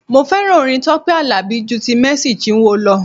Mo fẹ́ràn orin Tọ́pẹ́ Àlàbí ju ti Mercy Chinwo lọ.